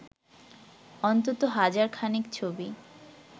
অন্তত হাজার খানেক ছবি